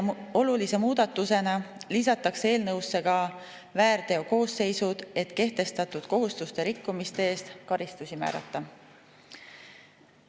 Olulise muudatusena lisatakse eelnõusse väärteokoosseisud, et kehtestatud kohustuste rikkumiste eest karistusi määrata.